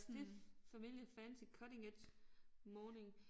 Stiff familiar fancy cutting edge morning